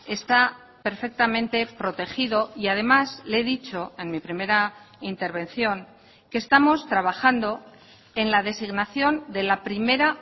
está perfectamente protegido y además le he dicho en mi primera intervención que estamos trabajando en la designación de la primera